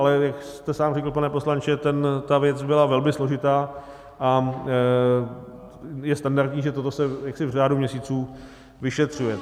Ale jak jste sám řekl, pane poslanče, ta věc byla velmi složitá a je standardní, že toto se v řádu měsíců vyšetřuje.